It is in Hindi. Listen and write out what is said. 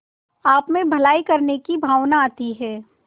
आपमें भलाई करने की भावना आती है